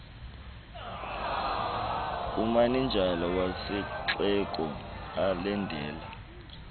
kumanejala wesixeko elandela